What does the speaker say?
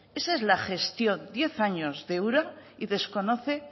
esa es la gestión diez años de ura y desconoce